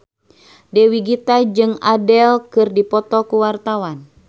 Dewi Gita jeung Adele keur dipoto ku wartawan